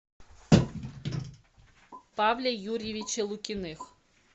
павле юрьевиче лукиных